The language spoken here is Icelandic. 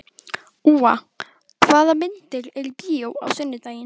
Úa, hvaða myndir eru í bíó á sunnudaginn?